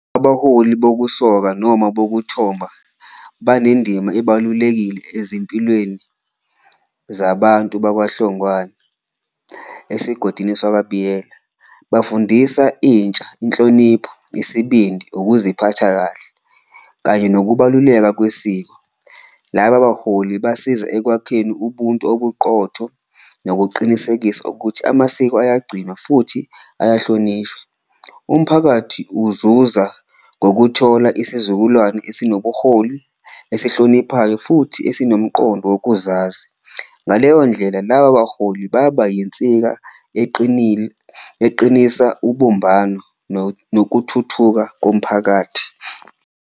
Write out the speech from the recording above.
Abaholi bokusoka noma bokuthomba banendima ebalulekile ezimpilweni zabantu bakwaHlongwane esigodini sakwaBiyela bafundisa intsha, inhlonipho, isibindi, ukuziphatha kahle kanye nokubaluleka kwesiko. Laba baholi basiza ekwakheni ubuntu obuqotho nokuqinisekisa ukuthi amasiko eyagcinwa futhi ayahlonishwa, umphakathi uzuza ngokuthola isizukulwane esinobuholi, esihloniphayo futhi esinomqondo wokuzazi. Ngaleyo ndlela laba baholi baba yinsika eqinile eqinisa ubumbano, nokuthuthuka komphakathi.